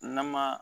Nama